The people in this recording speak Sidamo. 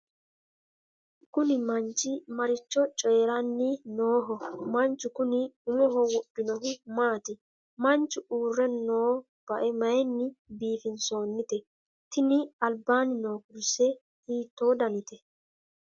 kuni manchi maricho coyiiranni nooho? manchu kuni umoho wodhinohu maati? manchu uurre noo bae mayiinni biifinsoonnite? tini albaanni noo kurse hiitto danite?